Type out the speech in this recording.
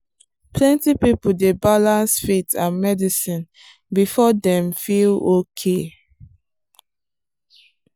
plenty people dey balance faith and medicine before dem feel okay.